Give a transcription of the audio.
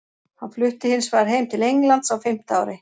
Hann flutti hins vegar heim til Englands á fimmta ári.